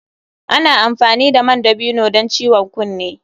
Ana amfani da man dabino don ciwon kunne.